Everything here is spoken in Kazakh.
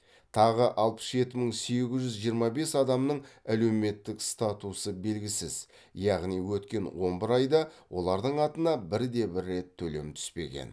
тағы алпыс жеті мың сегіз жүз жиырма бес адамның әлеуметтік статусы белгісіз яғни өткен он бір айда олардың атына бір де бір рет төлем түспеген